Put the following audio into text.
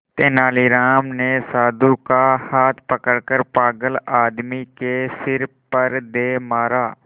तेनालीराम ने साधु का हाथ पकड़कर पागल आदमी के सिर पर दे मारा